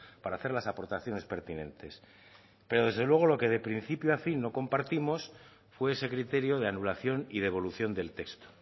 para hacer las aportaciones pertinentes pero desde luego lo que de principio a fin no compartimos fue ese criterio de anulación y de evolución del texto